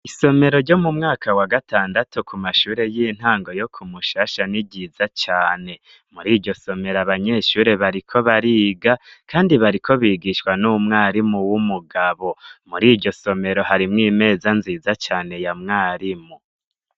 Isomero ryo mu mwaka wa gatandatu, ku mashure y'intango yo kumushasha niryiza cane, muri iryo somero abanyeshure bariko bariga, kandi bariko bigishwa n'umwarimu w'umugabo ,muri iryo somero harimwo imeza nziza cane ya mwarimu.